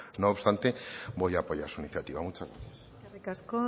no obstante voy a apoyar su iniciativa muchas gracias eskerrik asko